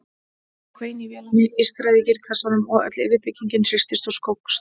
Það hvein í vélinni, ískraði í gírkassanum og öll yfirbyggingin hristist og skókst.